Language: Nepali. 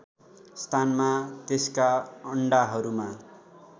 स्थानमा त्यसका अण्डाहरूमा